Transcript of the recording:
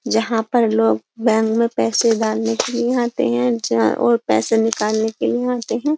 जहाँ पर लोग बैंक में पैसे डालने के लिए आते हैं जा और पैसे निकालने के लिए आते हैं।